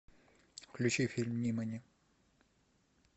включи фильм нимани